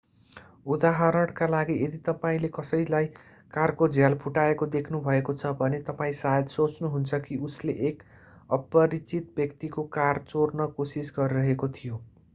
उदाहरणका लागि यदि तपाईंले कसैलाई कारको झ्याल फुटाएको देख्नु भएको छ भने तपाईं सायद सोच्नुहुन्छ कि उसले एक अपरिचित व्यक्तिको कार चोर्न कोसिस गरिरहेको थियो